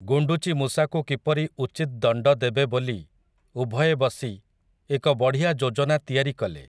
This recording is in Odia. ଗୁଣ୍ଡୁଚି ମୂଷାକୁ କିପରି ଉଚିତ୍ ଦଣ୍ଡଦେବେ ବୋଲି, ଉଭୟେ ବସି, ଏକ ବଢ଼ିଆ ଯୋଜନା ତିଆରି କଲେ ।